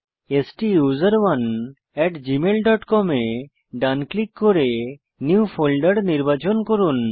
স্টুসেরনে at Gmail dot com এ ডান click করে নিউ ফোল্ডের নির্বাচন করুন